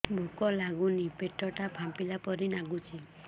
ଭୁକ ଲାଗୁନି ପେଟ ଟା ଫାମ୍ପିଲା ପରି ନାଗୁଚି